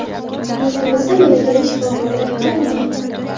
Yurtimizda malakali shifokorlar kammi?